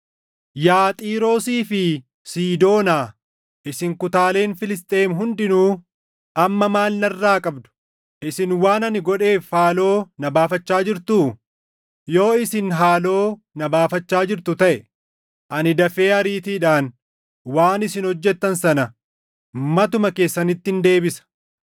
“Yaa Xiiroosii fi Siidoonaa, isin kutaaleen Filisxeem hundinuu, amma maal narraa qabdu? Isin waan ani godheef haaloo na baafachaa jirtuu? Yoo isin haaloo na baafachaa jirtu taʼe ani dafee ariitiidhaan waan isin hojjettan sana matuma keessanittin deebisa.